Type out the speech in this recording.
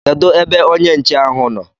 Kedu ebe onye nche ahụ nọ?